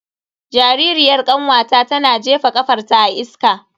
Jaririyar kanwata tana jefa kafarta a iska.